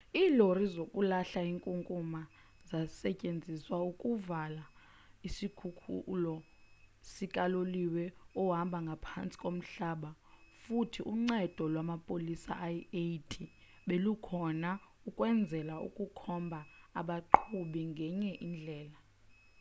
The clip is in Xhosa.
iilori zokulahla inkunkuma zasetyenziswa ukuvala isikhululo sikaloliwe ohamba ngaphantsi komhlaba futhi uncedo lwamapolisa ayi-80 belukhona ukwenzela ukukhombha abaqhubi ngenye indlela